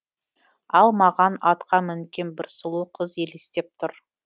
ал маған атқа мінген бір сұлу қыз елестеп тұр